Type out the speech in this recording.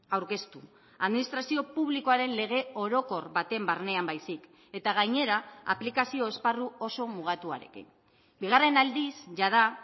aurkeztu administrazio publikoaren lege orokor baten barnean baizik eta gainera aplikazio esparru oso mugatuarekin bigarren aldiz jada